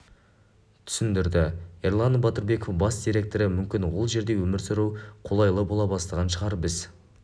түсіндірді эрлан батырбеков бас директоры мүмкін ол жерде өмір сүру қолайлы бола бастаған шығар біз